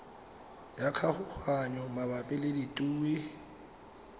ya kgaoganyo mabapi le ditue